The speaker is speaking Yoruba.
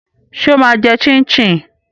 Ṣé ó máa jẹ chin chin?